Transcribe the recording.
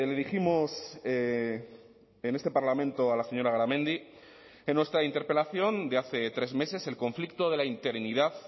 dijimos en este parlamento a la señora garamendi en nuestra interpelación de hace tres meses el conflicto de la interinidad